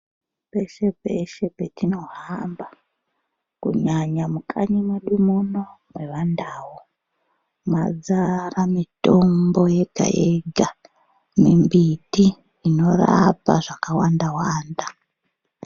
Peshe peshe petinohamba kunyanya mumakanyi medu muno mevandau madzara mitombo yega yega mimbiti inorapa zvakawanda wanda.